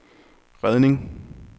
redning